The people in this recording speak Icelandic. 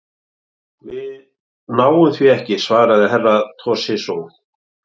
Við náum því ekki, svaraði Herra Toshizo.